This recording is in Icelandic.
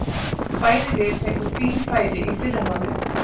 Bæði lið fengu fín færi í fyrri hálfleik.